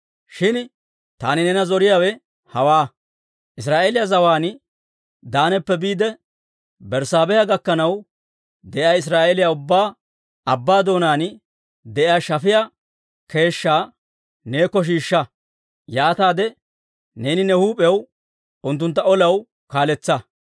«Shin taani neena zoriyaawe hawaa; Israa'eeliyaa zawaan Daanappe biide Berssaabeha gakkanaw de'iyaa Israa'eeliyaa ubbaa, abbaa doonaan de'iyaa shafiyaa keeshshaa neekko shiishsha; yaataade neeni ne huup'iyaw unttuntta olaw kaaletsa.